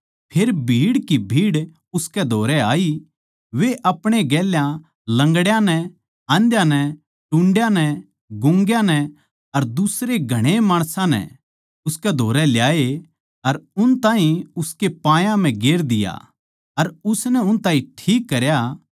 फेर भीड़ पै भीड़ उसकै धोरै आई वे अपणे गेल्या लंगड़ा नै आंधा नै गूंगया नै टुंडयाँ नै अर दुसरे घणाए नै उसकै धोरै ल्याए अर उन ताहीं उसके पायां म्ह गेर दिया अर उसनै उन ताहीं ठीक करया